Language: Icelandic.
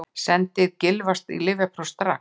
Sendið Gylfa í lyfjapróf strax!